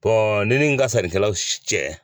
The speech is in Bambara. ne nin ka sanikɛlaw cɛ